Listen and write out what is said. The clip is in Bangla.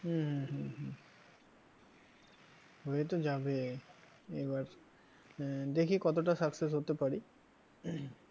হম হম হম হম হয়ে তো যাবে এবার আহ দেখি কতটা success হতে পারি